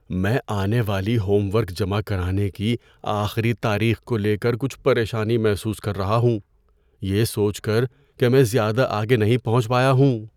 میں آنے والی ہوم ورک جمع کرانے کی آخری تاریخ کو لے کر کچھ پریشانی محسوس کر رہا ہوں، یہ سوچ کر کہ میں زیادہ آگے نہیں پہنچ پایا ہوں۔